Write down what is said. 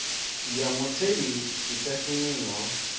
ya mutheli i sa shumiho